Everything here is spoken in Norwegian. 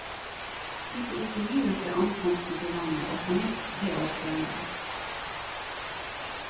De ble intervjuet ved ankomsten til landet, og på nytt tre år senere.